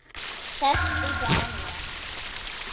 Sestu hjá mér.